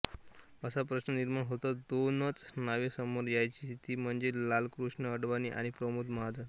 असा प्रश्न निर्माण होताच दोनच नावे समोर यायची ती म्हणजे लालकृष्ण अडवाणी आणि प्रमोद महाजन